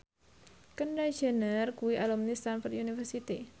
Kendall Jenner kuwi alumni Stamford University